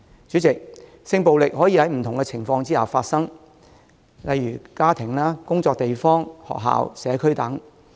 主席，性暴力可以在不同的情況下發生，例如家庭、工作地方、學校、社區等。